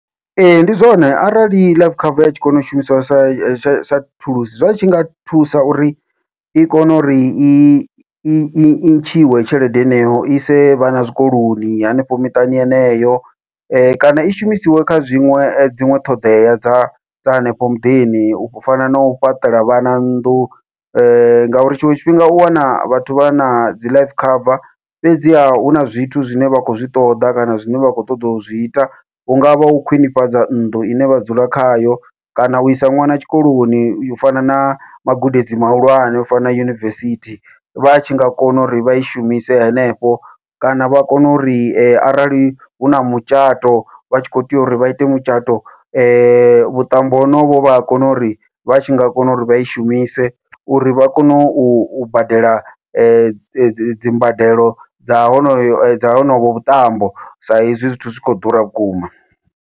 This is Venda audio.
Ee, ndi zwone arali life cover i tshi kona u shumisiwa sa tsha sa thulusi, zwa tshi nga thusa uri i kone uri i ntshiwe tshelede heneyo ise vhana zwikoloni hanefho miṱani heneyo, kana i shumisiwe kha zwiṅwe dziṅwe ṱhoḓea dza dza hanefho muḓini u fana nau fhaṱela vhana nnḓu ngauri tshiṅwe tshifhinga u wana vhathu vha na dzi life cover fhedziha huna zwithu zwine vha khou zwi ṱoḓa kana zwine vha khou ṱoḓa u zwi ita. Hungavha u khwiṋifhadza nnḓu ine vha dzula khayo kana uisa ṅwana tshikoloni u fana na magudedzi mahulwane u fanela yunivesithi, vha tshi nga kona uri vha i shumise henefho kana vha kone uri arali huna mutshato vha tshi kho tea uri vha ite mutshato vhuṱambo honovho vha a kona uri vha tshi nga kona uri vha i shumise uri vha kone u badela dzi dzi dzimbadelo dza honoyo dza honovho vhuṱambo, sa izwi zwithu zwikho ḓura vhukuma.